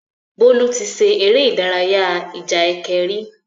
Bólú ti ṣe eré ìdarayá ìjà ẹkẹ rí.